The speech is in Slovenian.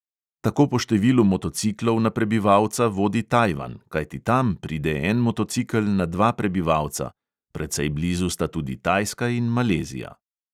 Tako po številu motociklov na prebivalca vodi tajvan, kajti tam pride en motocikel na dva prebivalca, precej blizu sta tudi tajska in malezija.